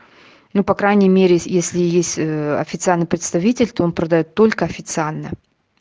ну по крайней мере если есть официальное представительство он продаёт только официально